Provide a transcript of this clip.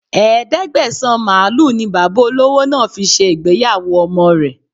Ẹ̀ẹ́dẹ́gbẹ̀sán màlúù ni Bàbá olówó náà fi ṣe ìgbéyàwó ọmọ rẹ